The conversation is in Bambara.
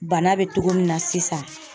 Bana be togo min na sisan